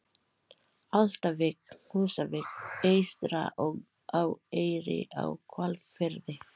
Álftavík, Húsavík eystra og á Eyri í Hvalfirði.